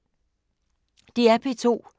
DR P2